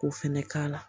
K'o fɛnɛ k'a la